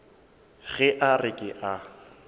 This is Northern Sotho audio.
ge a re ke a